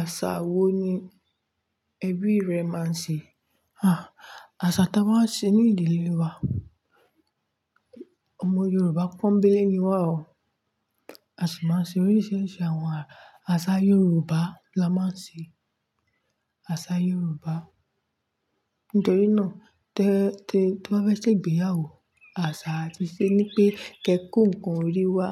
Àṣà wo ni ẹbí rẹ máa ń ṣe? À, àṣà táa wá ń ṣe ní ìdílé wa. Ọmọ Yorùbá pọ́ńbélé ni wá o. A sì máa ń ṣe oríṣiríṣi àwọn àṣà Yorùbá la máa ń ṣe, àṣà Yorùbá. Nítorí náà tí, tí wọ́n bá fẹ́ ṣègbéyàwó, àṣà tí ṣe ni pé kí ẹ kó nǹkan orí wá,